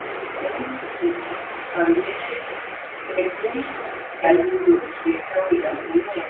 Einu sinni, sagði Villi, greip mikil skelfing um sig hjá íhaldinu í Eyjum.